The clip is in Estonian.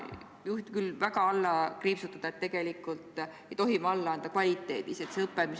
Ma tahan küll väga alla kriipsutada, et tegelikult ei tohi me kvaliteedis alla anda.